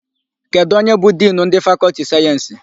Kedụ onye bụ Dinu ndị Fakọltị sayensị?